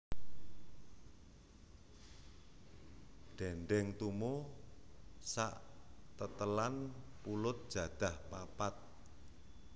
Dendeng tumo sak tetelan pulut jadah papat